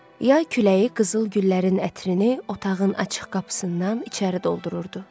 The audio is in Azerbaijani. Yay küləyi qızıl güllərin ətrini otağın açıq qapısından içəri doldururdu.